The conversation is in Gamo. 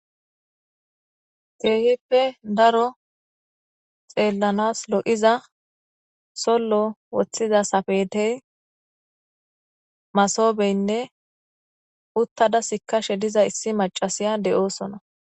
Keehippe daro xeellanas lo7iza sollo woththiza safetey masobeynne uttada sikashe diza issi macasiya de7oosona.